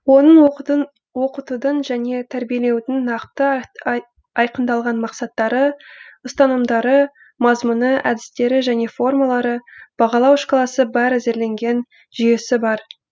оның оқытудың және тәрбиелеудің нақты айқындалған мақсаттары ұстанымдары мазмұны әдістері және формалары бағалау шкаласы бар әзірленген жүйесі бар